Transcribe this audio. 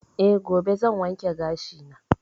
Eh, gobe zan wanke gashi na.